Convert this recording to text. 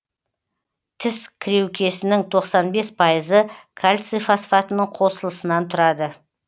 тіс кіреукесінің тоқсан бес пайызы кальций фосфатының қосылысынан тұрады